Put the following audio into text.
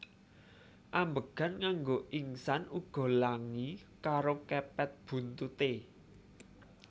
Ambegan nganggo ingsan uga langi karo kepet buntuté